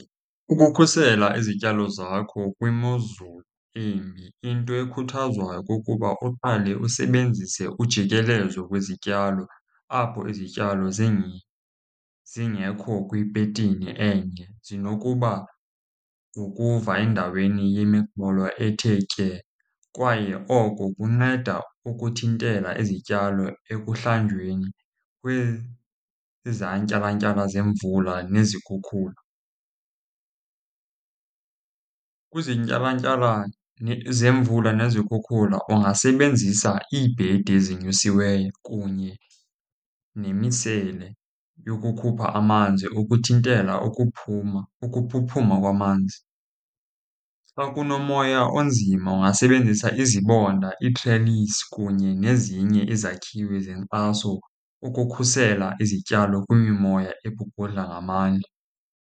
Ukukhusela izityalo zakho kwimozulu embi into ekhuthazwayo kukuba uqale usebenzise ujikelezo kwezityalo apho izityalo zinye zingekho kwipetini enye, zinokuba ngqukuva endaweni yemiqolo ethe tye. Kwaye oko kunceda ukuthintela izityalo ekuhlanjweni kwizantyalantyala zemvula nezikhukhula. Kwizantyalantyala zemvula nezikhukhula ungasebenzisa iibhedi ezinyusiweyo kunye nemisele yokukhupha amanzi ukuthintela ukuphuma, ukuphuphuma kwamanzi. Xa kunomoya onzima ungasebenzisa izibonda, iitrelisi, kunye nezinye izakhiwo zenkxaso ukukhusela izityalo kwimimoya ebhubhudla ngamandla.